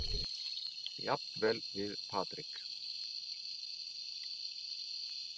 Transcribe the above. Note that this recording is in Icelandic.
Jafnvel við Patrik.